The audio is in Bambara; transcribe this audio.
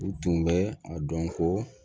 U tun bɛ a dɔn ko